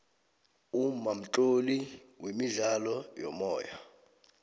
umma mtloli wemidlalo yomoya